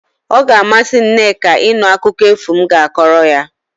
O ga-amasị Nneka ịnụ akụkọ efu m ga-akọrọ ya.